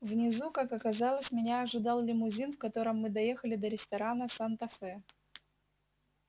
внизу как оказалось меня ожидал лимузин в котором мы доехали до ресторана санта фе